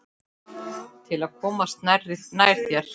Til að komast nær þér.